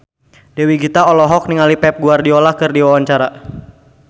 Dewi Gita olohok ningali Pep Guardiola keur diwawancara